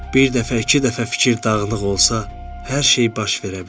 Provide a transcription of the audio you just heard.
Bir dəfə, iki dəfə fikir dağılıq olsa, hər şey baş verə bilər.